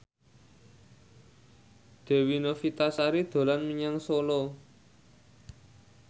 Dewi Novitasari dolan menyang Solo